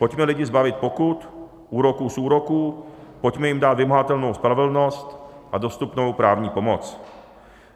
Pojďme lidi zbavit pokut, úroků z úroků, pojďme jim dát vymahatelnou spravedlnost a dostupnou právní pomoc.